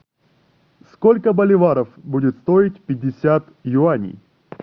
сколько боливаров будет стоить пятьдесят юаней